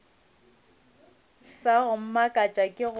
sa go mmakatša ke gore